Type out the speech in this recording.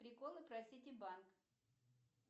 приколы про сити банк